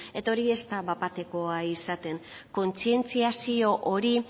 eta hori ez da bat batekoa izaten kontzientziazio hori